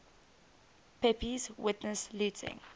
pepys witnessed looting